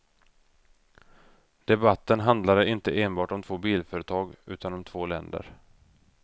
Debatten handlade inte enbart om två bilföretag utan om två länder.